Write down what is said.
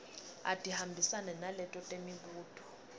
atihambisane naleto temibuto